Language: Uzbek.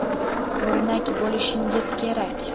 O‘rnak bo‘lishingiz kerak.